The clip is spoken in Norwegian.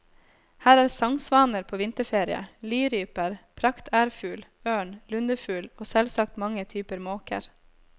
Her er sangsvaner på vinterferie, liryper, praktærfugl, ørn, lundefugl og selvsagt mange typer måker.